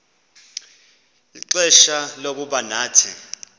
ixfsha lokuba nathi